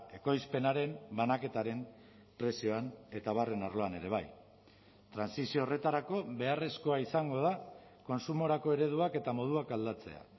ekoizpenaren banaketaren prezioan eta abarren arloan ere bai trantsizio horretarako beharrezkoa izango da kontsumorako ereduak eta moduak aldatzea